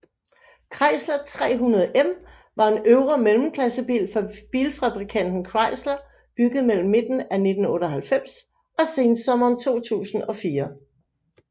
Chrysler 300M var en øvre mellemklassebil fra bilfabrikanten Chrysler bygget mellem midten af 1998 og sensommeren 2004